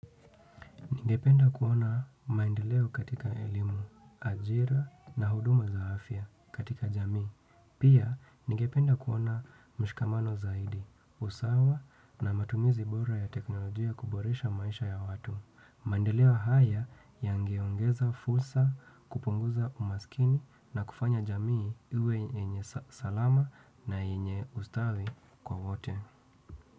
Ningependa kuona maendeleo katika elimu, ajira na huduma za afya katika jamii. Pia nigependa kuona mshikamano zaidi, usawa na matumizi bora ya teknolojia kuboresha maisha ya watu. Maendeleo haya yangeongeza fursa kupunguza umaskini na kufanya jamii iwe yenye salama na yenye ustawi kwa wote.